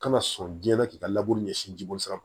Kana sɔn jɛnna k'i ka ɲɛsin jibolisira